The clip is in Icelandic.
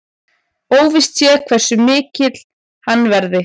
Óvíst sé hversu mikill hann verði